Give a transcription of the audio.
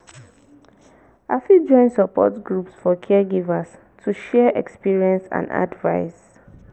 i fit join support groups for caregivers to share experiences and advice.